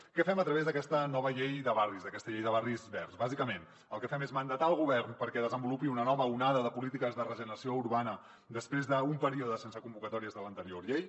què fem a través d’aquesta nova llei de barris d’aquesta llei de barris verds bàsicament el que fem és mandatar el govern perquè desenvolupi una nova onada de polítiques de regeneració urbana després d’un període sense convocatòries de l’anterior llei